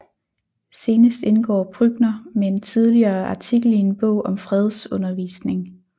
Senest indgår Brückner med en tidligere artikel i en bog om fredsundervisning